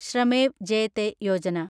ശ്രമേവ് ജയത്തെ യോജന